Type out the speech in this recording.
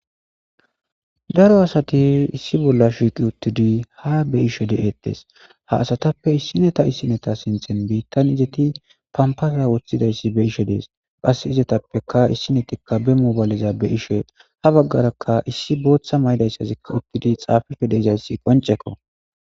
Daro asati issi bolla shiiqi uttidi ha be ishe de'ettes ha asatappe issineta issineta sinthen biittan izeti pampaza woththidayssi be ishe dees qas izetappeka issinetikka be mobayleza be ishe ha baggarakka issi booththa maydayssazikka uttidi xaafife deizayssi qonceko